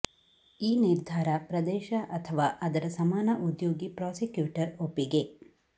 ಈ ನಿರ್ಧಾರ ಪ್ರದೇಶ ಅಥವಾ ಅದರ ಸಮಾನ ಉದ್ಯೋಗಿ ಪ್ರಾಸಿಕ್ಯೂಟರ್ ಒಪ್ಪಿಗೆ